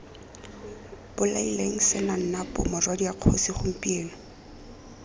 bolaileng senanapo morwadia kgosi gompieno